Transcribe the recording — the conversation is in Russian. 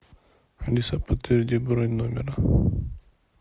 алиса подтверди бронь номера